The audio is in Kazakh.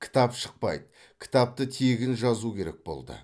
кітап шықпайды кітапты тегін жазу керек болды